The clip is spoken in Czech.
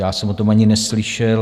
Já jsem o tom ani neslyšel.